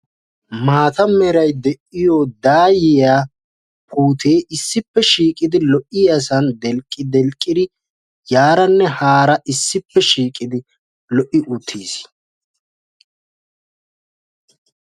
Maatta meray de'iyo daayiya puute issippe shiiqiddi yaaranne haara delqqdelqqi uttiddi lo'idee beettes.